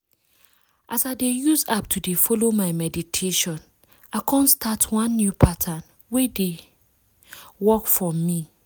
as i dey use app to dey follow my meditation i kon start one new pattern wey dey wait! work for me.